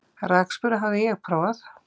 Rakspíra hafði ég prófað.